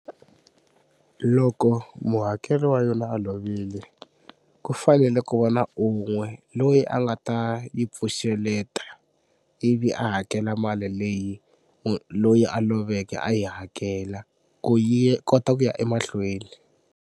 Loko muhakeri wa yona a lovile ku fanele ku va na un'we loyi a nga ta yi pfuxeleta ivi a hakela mali leyi loyi a loveke a yi hakela ku yi kota ku ya emahlweni.